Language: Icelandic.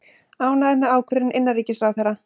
Ánægðir með ákvörðun innanríkisráðherra